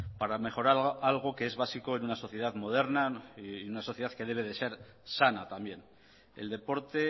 para mejorar algo que es básico en una sociedad moderna y una sociedad que debe de ser sana también el deporte